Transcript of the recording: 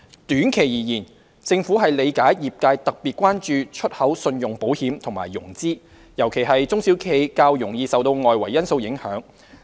短期而言，政府理解業界特別關注出口信用保險和融資，尤其是中小企較容易受到外圍因素影響。